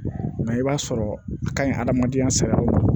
Nka i b'a sɔrɔ a ka ɲi adamadenya saga yɔrɔ la